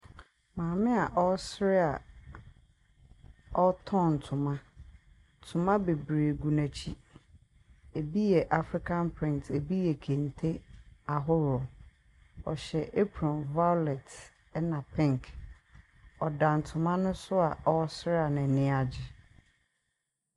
Maame a ɔresere a ɔtɔn ntoma. Ntoma bebree gu n'akyi. Ebi yɛ African print. Ebi yɛ kente ahorow. Ɔhyɛ approne violet na pink. Ɔda nto no so a ɔresere a n'ani agye.